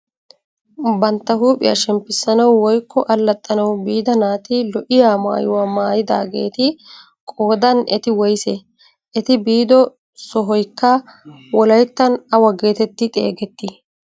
Bantta huuphphiyaa shemppisanawu woykko allaxanawu biida naati lo"iyaa maayuwaa maayidaageti qoodan eti woysee? eti biido sohoykka wolayttan awa getetti xegettii?